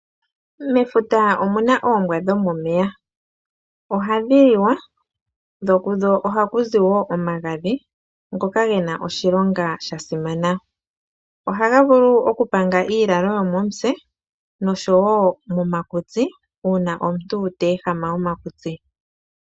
Mefuta omu na oombwa dhomomeya. Ohadhi liwa, sho ishewe kudho ohaku zi omagadhi, ngoka ge na oshilonga sha simana. Ohaga vulu okupanga iilalo yomomutse, nosho wo omakutsi, uuna omuntu ta ehama omakutsi.